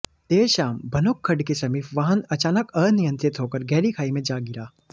देर शाम भनोग खड्ड के समीप वाहन अचानक अनियंत्रित होकर गहरी खाई में जा गिरा